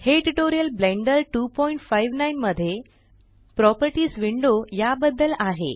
हे tutorial Blender 259 मध्ये properties window या बद्दल आहे